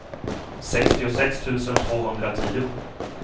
sextiosex tusen tvåhundratio